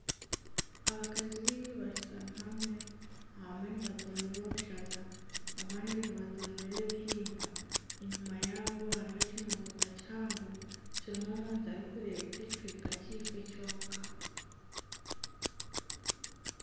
Abakazi baingi bashutami hamwe abamwe nibatondora obushaza abandi nibatondora ebihimba enyima yaabo hariho ekimotoka kihango kirimu omuntu arikurebuka ekicweka ekyeifo kyonka.